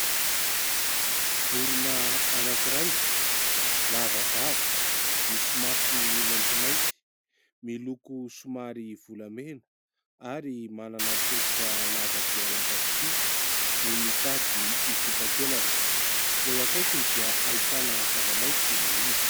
Vorona anankiray lava vava, misy masony maintimainty, miloko somary volamena ary manana tongotra lava dia lava tokoa no mitady hikopaka elatra. Eo akaikiny dia ahitana zavamaitso maniry.